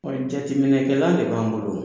jateminɛkɛla de b'an bolo.